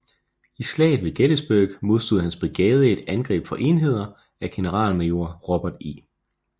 I Slaget ved Gettysburg modstod hans brigade et angreb fra enheder af generalmajor Robert E